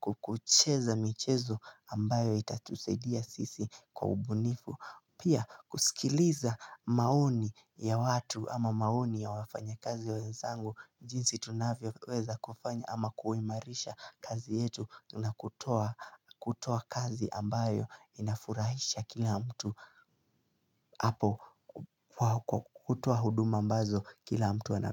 kukucheza michezo ambayo itatusaidia sisi kwa ubunifu Pia kusikiliza maoni ya watu ama maoni ya wafanyakazi wenzangu jinsi tunavyoweza kufanya ama kuimarisha kazi yetu na kutoa kazi ambayo inafurahisha kila mtu hapo kutoa huduma ambazo kila mtu ana.